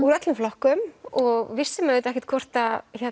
úr öllum flokkum og vissum auðvitað ekki hvort